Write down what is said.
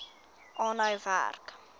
aanhou werk